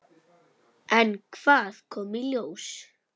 En hvað kom í ljós?